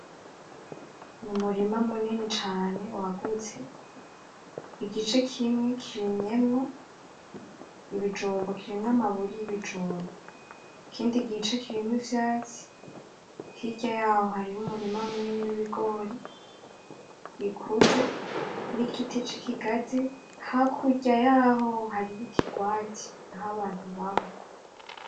N'umurima munini cane wagutse, igice kimwe kirimyemwo ibijumbu kirimw'amaburi y'ibijumbu, ikindi gice kirimw'ivyatsi, hirya yaho hariho umurima munini w'ibigori bikuze n'igiti c'ikigazi, hakurya yahoo hariho ikigwati ah'abantu baba.